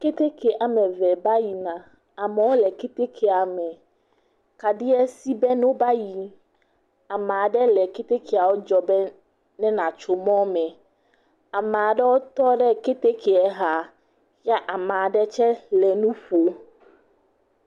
Keteke amee eve ba yina. Amewo le ketekea me. Kaɖiɛ sí be ne woba yii. Amaa ɖe le ketekea dzɔ be ne nàtso mɔ̃me. Amaa ɖewo tɔ ɖe ketekeɛ xaa ya, amaa ɖetsɛ le nu ƒoo.